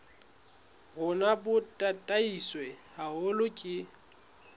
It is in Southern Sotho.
rona bo tataiswe haholo ke